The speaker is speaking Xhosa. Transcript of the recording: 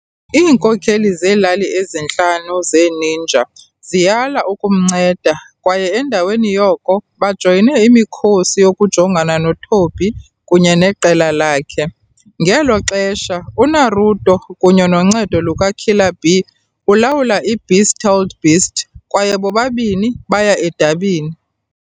Iinkokheli zeelali ezintlanu ze-ninja ziyala ukumnceda kwaye endaweni yoko bajoyine imikhosi yokujongana noThobi kunye neqela lakhe. Ngelo xesha, uNaruto-kunye noncedo luka-Killer Bee-ulawula i-Beast Tailed Beast kwaye bobabini baya edabini.